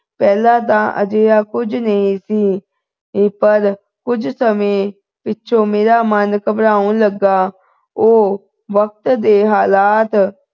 ਪਹਿਲਾਂ ਤਾਂ ਅਜਿਹਾ ਕੁਝ ਨਹੀਂ ਸੀ ਇਹ ਪਰ ਕੁਝ ਸਮੇਂ ਪਿੱਛੋਂ ਮੇਰਾ ਮਨ ਖਬਰ ਹੋਣ ਲੱਗਾ ਉਹ ਵਕਤ ਦੇ ਹਾਲਾਤ